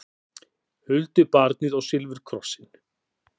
Huldubarnið og silfurkrossinn